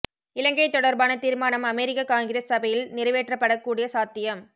இலங்கை தொடர்பான தீர்மானம் America Congress சபையில் நிறைவேற்றப்படக் கூடிய சாத்தியம்